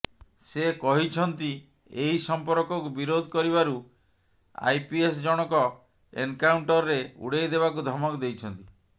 ସେ କହିଛନ୍ତି ଏହି ସଂପର୍କକୁ ବିରୋଧ କରିବାରୁ ଆଇପିଏସ ଜଣକ ଏନକାଉଣ୍ଟରରେ ଉଡେଇଦେବାକୁ ଧମକ ଦେଇଛନ୍ତି